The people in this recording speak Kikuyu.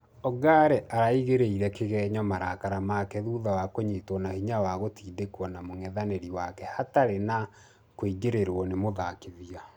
Ongare araigeore kĩgenyo marakara make thutha wa kũnyitwo na hinya na gũtindekwo na mũngethanĩri wake hatarĩ na kũingĩrĩrwo nĩ mũthakithia.